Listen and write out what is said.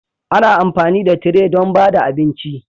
Ana amfani da tire don ba da abinci